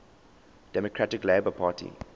democratic labour party